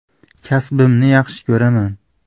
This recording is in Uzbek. Kasbimni yaxshi ko‘raman.